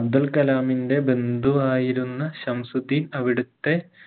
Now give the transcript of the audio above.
അബ്ദുൽ കലാമിന്റെ ബന്ധുവായിരുന്ന ശംസുദ്ധീൻ അവിടുത്തെ